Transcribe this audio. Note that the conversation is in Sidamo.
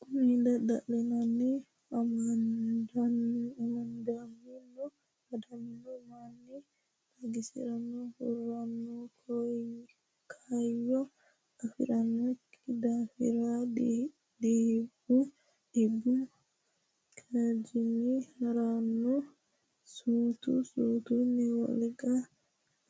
Konni dhibbinni amadamino manni xagisi’re huranno kaayyo afi’rinokki daafi’ra dhibbu kaajjanni ha’ranno suutu suutunni wolqano